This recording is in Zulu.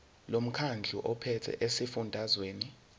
lomkhandlu ophethe esifundazweni